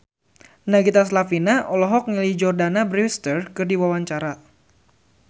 Nagita Slavina olohok ningali Jordana Brewster keur diwawancara